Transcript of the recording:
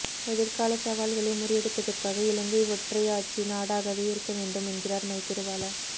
எதிர்கால சவால்களை முறியடிப்பதற்காக இலங்கை ஒற்றையாட்சி நாடாகவே இருக்க வேண்டும் என்கிறார் மைத்திரிபால